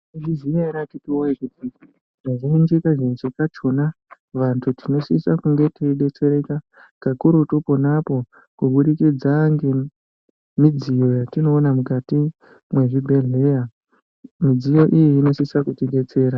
mwaizviziya ere akiti woye kuti kazhinji kazhinji kachona vantu tinosisa kunge teidetsereka kakurutu ponapo kubudikidza ngemidziyo yatinoona mukati mwezvibhehleya ,midziyo iyi inosisa kutidetsera.